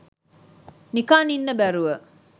නිකන් ඉන්න බැරුව